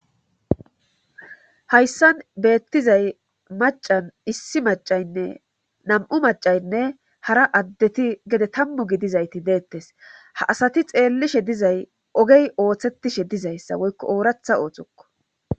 hayssan beettizay macan issi macaynne nam7u macaynne hara addeti gede tammu gidizayti deettes ha asati xeellishe dizay ogey ooththettishe dizayssa woykko ooratha ootokko